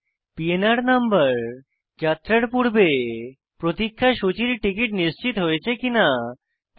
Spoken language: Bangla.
পিএনআর নম্বর যাত্রার পূর্বে প্রতিক্ষা সূচীর টিকিট নিশ্চিত হয়েছে কিনা তা বলে